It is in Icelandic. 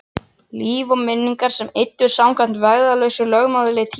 Líf og minningar sem eyddust samkvæmt vægðarlausu lögmáli tímans.